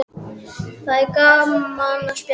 Það er svo gaman að spjalla við þig.